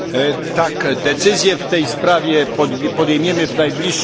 Decyzję w tej sprawie podejmiemy w najbliższym czasie.